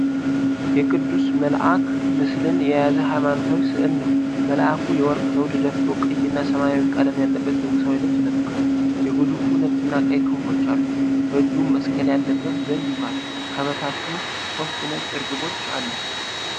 የቅዱስ መልአክ ምስልን የያዘ ሃይማኖታዊ ሥዕል ነው። መልአኩ የወርቅ ዘውድ ደፍቶ፣ ቀይና ሰማያዊ ቀለም ያለበት ንጉሣዊ ልብስ ለብሷል። ግዙፍ ነጭና ቀይ ክንፎች አሉት፤ በእጁም መስቀል ያለበት ዘንግ ይዟል። ከበታቹ ሶስት ነጭ እርግቦች አሉ።